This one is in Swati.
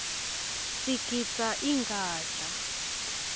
sigidza ingadla